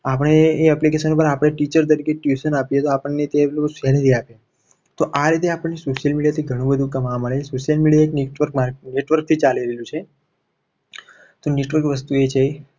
આપણે એ application પર આપણે teacher તરીકે tuition આપીએ. તો આપણને એ sallery આપે તો આ રીતે આપણને social media થી ઘણું બધું કમાવા મંડે. social media network થી ચાલી રહ્યું છે. તો network વસ્તુ એ છે.